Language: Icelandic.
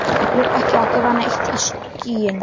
Ég er ekki að gefa neitt í skyn.